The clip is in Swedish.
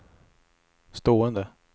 stående